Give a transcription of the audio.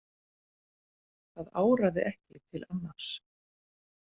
Það áraði ekki til annars.